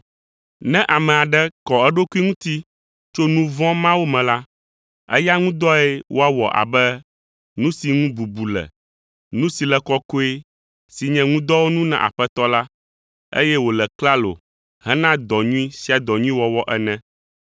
Ne ame aɖe kɔ eɖokui ŋuti tso nu vɔ̃ mawo me la, eya ŋu dɔe woawɔ abe nu si ŋu bubu le, nu si le kɔkɔe si nye ŋudɔwɔnu na Aƒetɔ la, eye wòle klalo hena dɔ nyui sia dɔ nyui wɔwɔ ene.